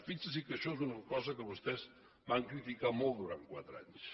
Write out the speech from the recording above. fixi’s que això és una cosa que vostès van criticar molt durant quatre anys